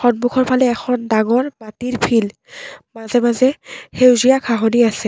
সন্মুখৰফালে এখন ডাঙৰ মাটিৰ ফিল্ড মাজে মাজে সেউজীয়া ঘাঁহনি আছে।